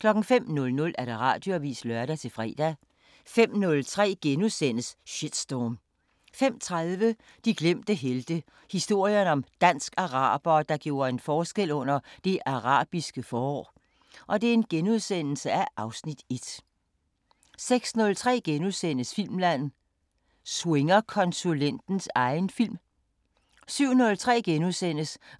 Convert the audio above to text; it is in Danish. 05:00: Radioavisen (lør-fre) 05:03: Shitstorm * 05:30: De glemte helte – historien om dansk-arabere, der gjorde en forskel under Det Arabiske forår (Afs. 1)* 06:03: Filmland: Swinger konsulentens egen film? * 07:03: